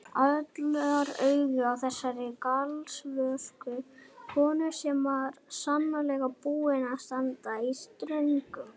Allra augu á þessari galvösku konu sem var svo sannarlega búin að standa í ströngu.